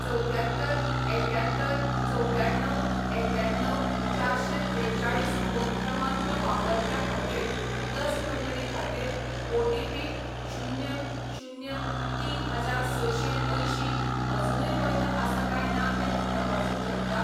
चवद्यात्तर एक्यात्तर चवद्याण्णव एक्याण्णव चारशें त्रेचाळीस फोन क्रमांक वापरप्या खातीर लस नोंदणी खातीर ओ टी पी शुन्य शुन्य तीन हजार सशें अंयशीं अजूनय वैध आसा काय ना तें तूं तपासूंक शकता